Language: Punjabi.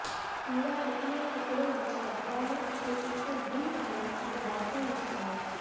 ਚੂਰਾ ਪਤਲੇ ਟੁਕੜੇ ਵਿੱਚ ਕੱਟਦਾ ਹੈ ਅਤੇ ਇੱਕ ਡ੍ਰਿੰਕ ਨਾਲ ਇੱਕ ਬਾਟੇ ਵਿੱਚ ਪਾਓ